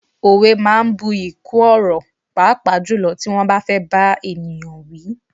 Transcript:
Òwe máa ń bu'yi kún ọ̀rọ̀, pàápàá jùlọ tí wọ́n bá fẹ́ bá ènìyàn wí.